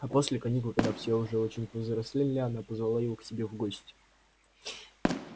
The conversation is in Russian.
а после каникул когда все уже очень повзрослели она позвала его к себе в гости